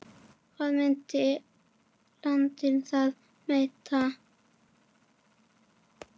Hvað myndi landið þá heita?